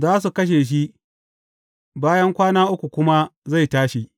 Za su kashe shi, bayan kwana uku kuma zai tashi.